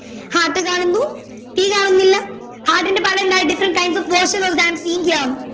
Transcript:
Heart കാണുന്നു തീ കാണുന്നില്ല heart ന്റെ പല എന്താ different types of version all can seen here